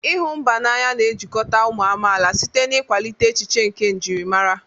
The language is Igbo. ịhụ mba n'anya na-ejikọta ụmụ amaala site n'ịkwalite echiche nke njirimara.